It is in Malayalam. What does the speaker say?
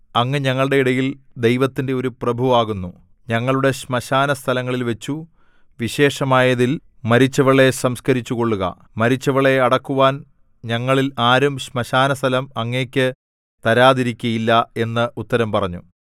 അങ്ങ് ഞങ്ങളുടെ ഇടയിൽ ദൈവത്തിന്‍റെ ഒരു പ്രഭുവാകുന്നു ഞങ്ങളുടെ ശ്മശാനസ്ഥലങ്ങളിൽവച്ചു വിശേഷമായതിൽ മരിച്ചവളെ സംസ്കരിച്ചുക്കൊള്ളുക മരിച്ചവളെ അടക്കുവാൻ ഞങ്ങളിൽ ആരും ശ്മശാനസ്ഥലം അങ്ങയ്ക്കു തരാതിരിക്കയില്ല എന്ന് ഉത്തരം പറഞ്ഞു